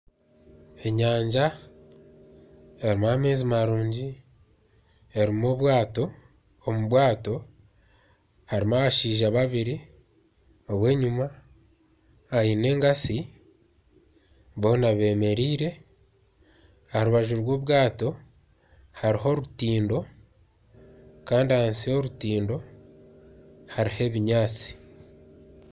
Enyanja erimu amaizi marungi. Erimu obwato, omu bwato harimu Abashaija babiri. Ow'enyima aine enkatsi, boona bemereire. Aha rubaju rw'obwato hariho orutindo kandi ahansi y'orutindo hariho ebinyaatsi.